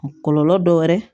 Kɔlɔlɔ dɔ wɛrɛ